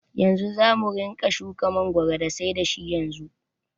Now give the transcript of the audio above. Yanzu zamu ringa shuka mangoro da sai da shi yanzu.